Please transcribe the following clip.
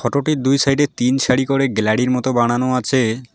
ফোটোটির দুই সাইডে তিন সারি করে গ্লারির মত বানানো আছে।